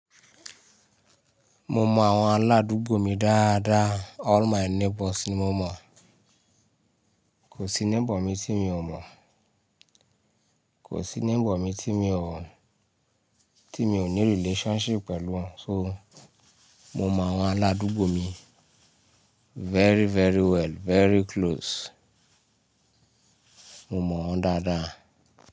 Mo mọ àwọn aládùúgbò mi dáadáa. All my neighbours ni mo mọ̀. Kò sí neighbour mi tí mi ò mọ̀. Kò sí neighbour mi tí mi ò mọ̀, tí mi ò ní relationship pẹ̀lú wọn. So, mo mọ àwọn aládùúgbò mi very, very well, very close. Mo mọ̀ wọ́n dáadáa.